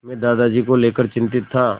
मैं दादाजी को लेकर चिंतित था